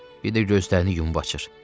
Bir də gözlərini yumub açır.